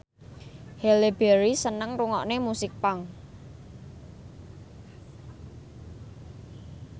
Halle Berry seneng ngrungokne musik punk